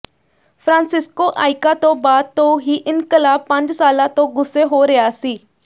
Francisco ਆਈਕਾ ਤੋਂ ਬਾਅਦ ਤੋਂ ਹੀ ਇਨਕਲਾਬ ਪੰਜ ਸਾਲਾਂ ਤੋਂ ਗੁੱਸੇ ਹੋ ਰਿਹਾ ਸੀ